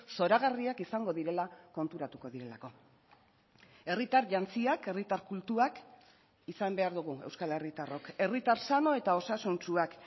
zoragarriak izango direla konturatuko direlako herritar jantziak herritar kultuak izan behar dugu euskal herritarrok herritar sano eta osasuntsuak